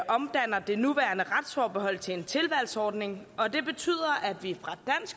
omdanner det nuværende retsforbehold til en tilvalgsordning og det betyder at vi fra